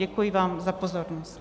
Děkuji vám za pozornost.